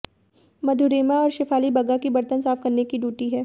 मधुरिमा और शेफाली बग्गा की बर्तन साफ करने की ड्यूटी है